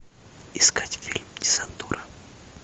искать фильм десантура